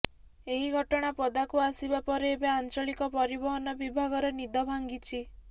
ଏହି ଘଟଣା ପଦାକୁ ଆସିବା ପରେ ଏବେ ଆଞ୍ଚଳିକ ପରିବହନ ବିଭାଗର ନିଦ ଭାଙ୍ଗିଛି